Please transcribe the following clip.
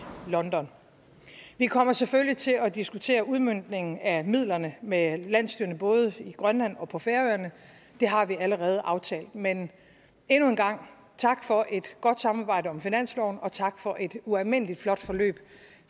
london vi kommer selvfølgelig til at diskutere udmøntningen af midlerne med landsstyrerne både i grønland og på færøerne det har vi allerede aftalt men endnu en gang tak for et godt samarbejde om finansloven og tak for et ualmindelig flot forløb